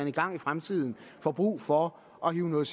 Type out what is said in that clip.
en gang i fremtiden får brug for at hive noget